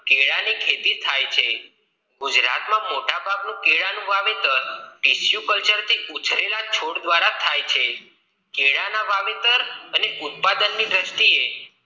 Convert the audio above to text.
કેળાં ની ખેતી થાય છે ગુજરાત માં મોટાભાગ કેળાંનું વાવેતર tesu Culture ઉછરેલા છોડ દ્વારા થાય છે કેળાં ના વાવેતર અને ઉત્પાદન ની દ્રષ્ટિ એ